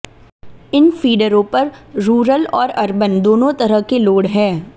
इन फीडरों पर रूरल और अर्बन दोनों तरह के लोड हैं